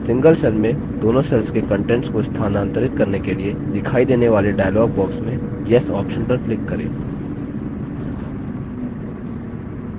single cells में दोनों cells के contents को स्थानांतरित करने के लिए दिखाई देने वाले dialog box में yes option पर click करें